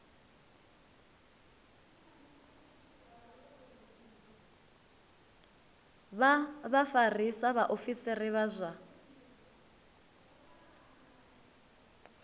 vha vhafarisa vhaofisiri vha zwa